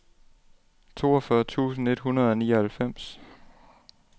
toogfyrre tusind et hundrede og nioghalvfems